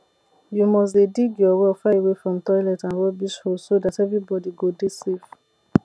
you must dey dig your well far away from toilets and rubbish holes so dat everybody go dey safe